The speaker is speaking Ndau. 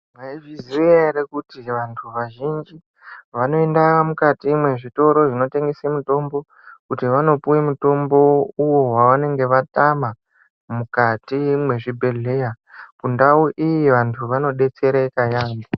Mwaizviya ere kuti vantu vazhinji vanoenda mukati mwezvitoro zvinotengese mitombo kuti vanopuwe mutombo uwo wavanenge vatama mukati mwezvibhedhlera kundau iyi vantu vanodetsereka yambo.